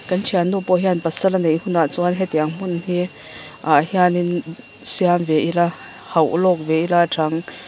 kan thiannu pawh hian pasal a neih hunah chuan hetiang hmun hi ah hianin siam ve ila hauhlawk ve ila tha ang--